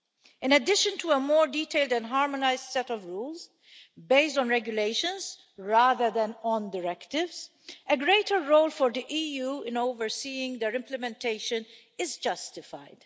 In addition to a more detailed and harmonised set of rules based on regulations rather than on directives, a greater role for the EU in overseeing their implementation is justified.